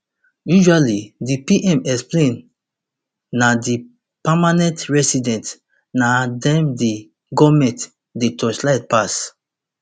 usually di pm explain na di permanent residents na dem di goment dey torchlight pass